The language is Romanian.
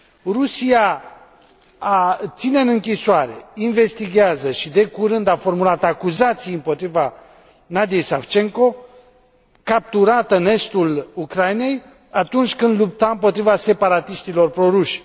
Rusia ține în închisoare, investighează și, de curând, a formulat acuzații împotriva Nadiyei Savchenko, capturată în estul Ucrainei, atunci când lupta împotriva separatiștilor proruși.